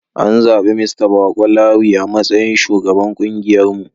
An zabi Mista Bako Lawi a matsayin shugaban kungiyarmu.